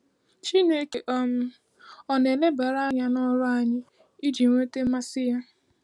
Chineke um ọ̀ na-elebara anya n’ọrụ anyị iji nweta mmasị ya?